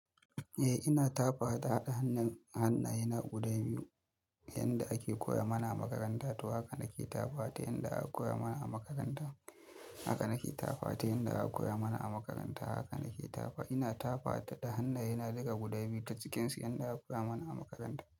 Eh, ina tafawa da hannaye na guda biyu yanda ake koya mana a makaranta. To haka nake tafawa ta yanda aka koya mana a makaranta. Haka nake tafawa ta yanda aka koya mana a makaranta. Haka nake tafawa. Ina tafawa da hannayena duga guda biyu ta cikinsu yanda aka koya mana a makaranta.